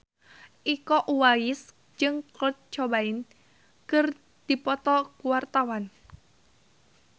Iko Uwais jeung Kurt Cobain keur dipoto ku wartawan